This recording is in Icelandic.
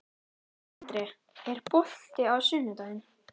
André, er bolti á sunnudaginn?